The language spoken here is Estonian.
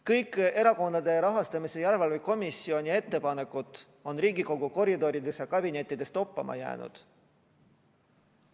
Kõik Erakondade Rahastamise Järelevalve Komisjoni ettepanekud on Riigikogu koridorides ja kabinettides toppama jäänud.